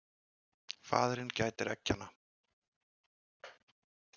Faðirinn gætir eggjanna.